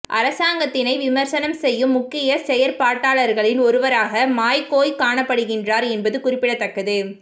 அரசாங்கத்தினை விமர்சனம் செய்யும் முக்கிய செயற்பாட்டாளர்களில் ஒருவராக மாய் கோய் காணப்படுகின்றார் என்பது குறிப்பிடத்தக்கது